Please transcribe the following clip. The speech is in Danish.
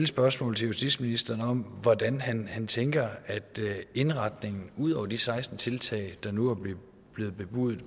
spørgsmål til justitsministeren om hvordan han han tænker at indretningen ud over de seksten tiltag der nu er blevet bebudet